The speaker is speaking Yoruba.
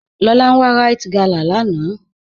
Lọlá n wà Ríte gálà láńà